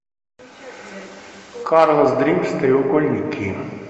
карлас дримс треугольники